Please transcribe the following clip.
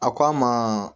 A ko a ma